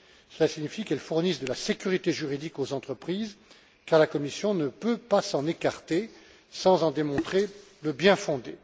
Cela signifie qu'elles fournissent de la sécurité juridique aux entreprises car la Commission ne peut pas s'en écarter sans en démontrer le bien fondé.